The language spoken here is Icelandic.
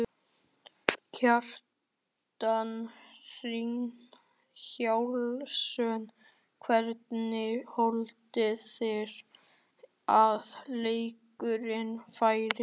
Kjartan Hreinn Njálsson: Hvernig haldið þið að leikurinn fari?